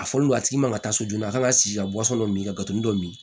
A fɔlen do a tigi man ka taa so joona a kan ka sigi ka dɔ min kato dɔ min